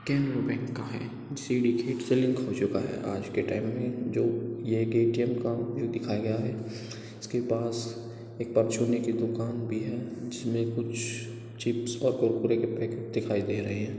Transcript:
Canara bank का हैजो सिंडिकेट से लिंक हो चुका है| आज के टाइम में जो यह एक ए_टी_एम का दिखाया गया है उसके पास एक की दुकान भी है जिसमे कुछ चिप्स और कुरकुरे के पैकेट दिखाई दे रहे हैं।